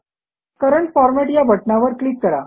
current format या बटणावर click करा